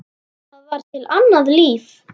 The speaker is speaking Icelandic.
Það var til annað líf.